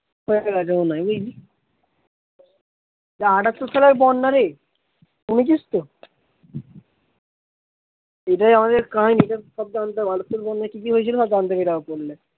হয়ে গেছে মনে হয় বুঝেছিস, এটা আঠাটর সালে বন্যা রে, শুনেছিস তো? এটাই আমাদের কাহিনী এটার সব জানতে হবে উত্তর বঙ্গে কিকি হয়েছিল সব জানতে পেরে যাবো পড়লে